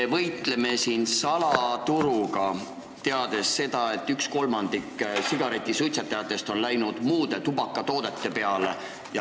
Me võitleme siin salaturuga, teades seda, et 1/3 sigaretisuitsetajatest on üle läinud muudele tubakatoodetele.